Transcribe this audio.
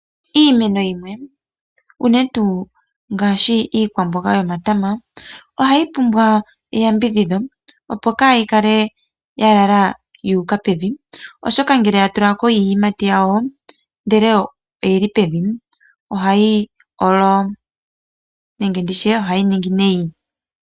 Iimeno yimwe ngaashi unene iikunino yomatama, ohayi pumbwa eyambidhidho opo kaa yi kale yalala yuuka pevi. Oshoka ngele oya tula ko iiyimati yawo ndele oyili pevi, ohayi olo nenge nditye ohayi ningi nayi.